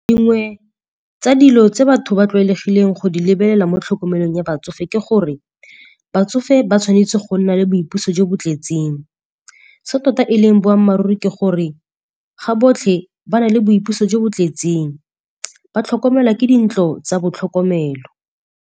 Dingwe tsa dilo tse batho ba tlwaelegileng go di lebelela mo tlhokomelong ya batsofe ke gore batsofe ba tshwanetse go nna le boipuso jo bo tletseng. Se tota eleng boammaaruri ke gore ga botlhe ba na le boipuso jo bo tletseng, ba tlhokomelwa ke dintlo tsa ba botlhokomelo.